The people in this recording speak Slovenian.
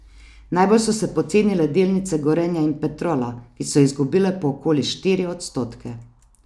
Najbolj so se pocenile delnice Gorenja in Petrola, ki so izgubile po okoli štiri odstotke.